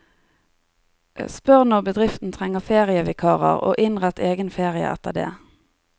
Spør når bedriften trenger ferievikarer og innrett egen ferie etter det.